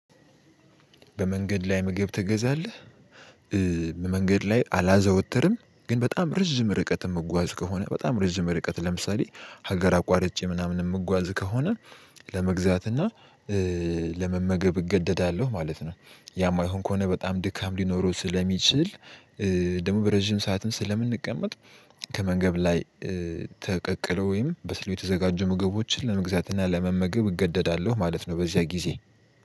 በመንገድ ላይ ምግብ ትገዛለህ? በመንገድ ላይ አላዘወትርም ግን በጣም ረዥም ርቀት የምጓዝ ከሆነ በጣም ረዥም ርቀት ለምሳሌ ሀገር አቋርጬ ምናምን የምጓዝ ከሆነ ለመግዛት እና ለመመገብ እገደዳለሁ ማለት ነው። ያማይሆን ከሆነ በጣም ድካም ሊኖረው ስለሚችል ደግሞ በረዥም ሰዓትም ስለምንቀመጥ ከመንገብ ላይ ተቀቅለው ወይም በስልው የተዘጋጁ ምግቦችን ለመግዛት እና ለመመግብ እገደዳለሁ ማለት ነው። በዚያ ጊዜ